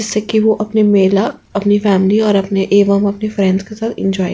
जैसा कि वो अपना मेला अपनी फॅमिली और एक फ्रेंड्स के साथ एन्जॉय --